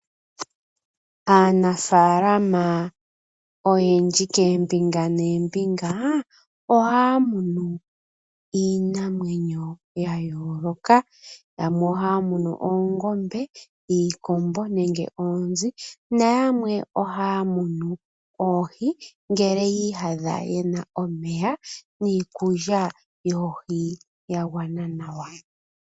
Aanafalama oyendji kombinga nombinga ohaya munu iinamwenyo ya yoloka, yamwe ohaya munu oongombe, iikombo nenge oonzi noyamwe ohaya munu oohi ngele yi iyadha tena omeya niikulya yoohi yagwana nawa.